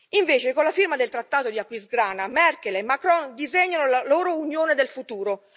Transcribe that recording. Invece, con la firma del trattato di Aquisgrana, Merkel e Macron disegnano la loro Unione del futuro